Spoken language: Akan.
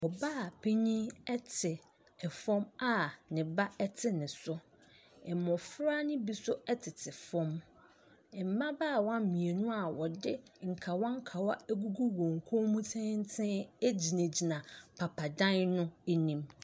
Ɔbaapanin te fam a ne ba te ne so. Mmɔfra no bi nso tete fam. Mmabaawa mmienu a wɔde nkawa nkawa agugu wɔn kɔn mu tenten gyinagyina papadan no anim.